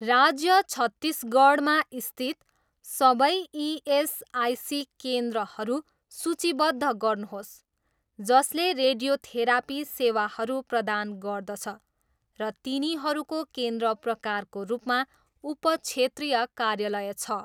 राज्य छत्तिसगढ मा स्थित सबै इएसआइसी केन्द्रहरू सूचीबद्ध गर्नुहोस् जसले रेडियोथेरापी सेवाहरू प्रदान गर्दछ र तिनीहरूको केन्द्र प्रकारको रूपमा उपक्षेत्रीय कार्यालय छ।